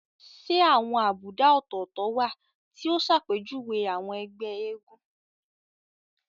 Ṣé àwọn àbùdá ọ̀tọ̀ọ̀tọ̀ wà tí ó ṣàpèjúwe àwọn ẹgbẹ́ eégún?